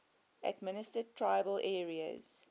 administered tribal areas